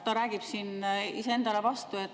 Ta räägib iseendale vastu.